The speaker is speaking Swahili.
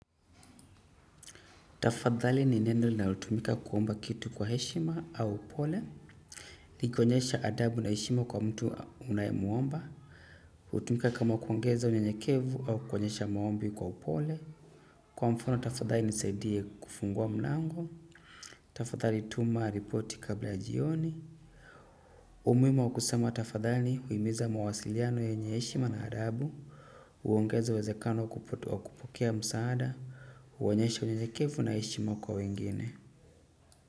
Tafadhali ni neno na utumika kuomba kitu kwa heshima au upole. Nikuonyesha adabu na heshima kwa mtu unayemwomba. Utumika kama kuongeza unyanyekevu au kuonyesha maombi kwa upole. Kwa mfono, tafadhali nisaidie kufungua mlango. Tafadhali tuma ripoti kabla ya jioni. Umuimu wakusema tafadhali huimiza mawasiliano yenye heshima na adabu. Uongeza uwezekano wakupokea msaada. Uonyesha unyanyekevu na heshima kwa wengine.